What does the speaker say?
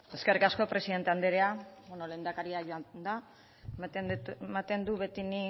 eskerrik asko presidente andrea lehendakaria joan da ematen dut beti ni